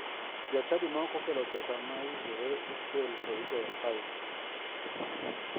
Jachadi ma ok okelo pesa ma owinjore okel to igoyo fain.